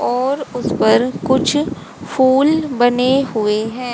और उस पर कुछ फूल बने हुए हैं।